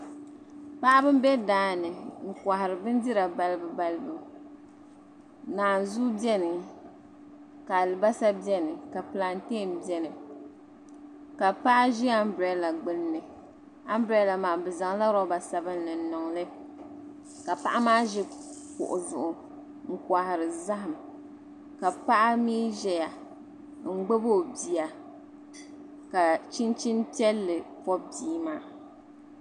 Paɣaba m bɛ daani n kɔhiri bindira balibu balibu naanzua bɛni ka alibasa bɛni ka pilanteei bɛni ka paɣa ʒi ambirila gbunni ambirila maa bɛ zaŋla lɔba sabinli niŋli ka paɣa maa ʒi kuɣi zuɣu n kɔhiri zahim ka paɣa mi ʒiya m gbubi o bia ka chinchini piɛlli bɔbi bia maa.